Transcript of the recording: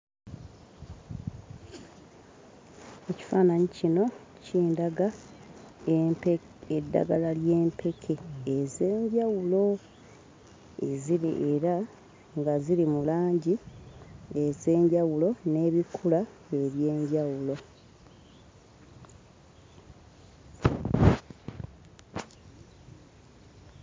Ekifaananyi kino kindaga empe eddagala ly'empeke ez'enjawulo eziri era nga ziri mu langi ez'enjawulo n'ebikula eby'enjawulo.